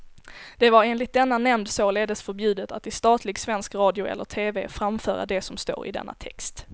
Det var enligt denna nämnd således förbjudet att i statlig svensk radio eller tv framföra det som står i denna text.